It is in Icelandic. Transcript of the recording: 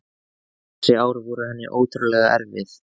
Þessi ár voru henni ótrúlega erfið.